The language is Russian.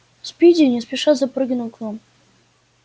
спиди не спеша запрыгал к нам